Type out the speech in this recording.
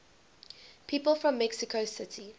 people from mexico city